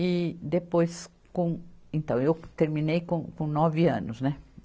E depois, com... Então, eu terminei com, com nove anos, né?